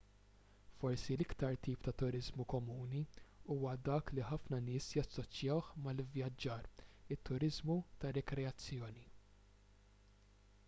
forsi l-iktar tip ta' turiżmu komuni huwa dak li ħafna nies jassoċjawh mal-ivvjaġġar it-turiżmu ta' rikreazzjoni